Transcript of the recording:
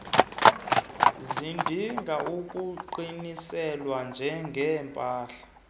zidinga ukuqiniselwa njengeepahla